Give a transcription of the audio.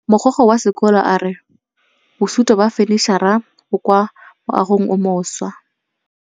Mogokgo wa sekolo a re bosutô ba fanitšhara bo kwa moagong o mošwa.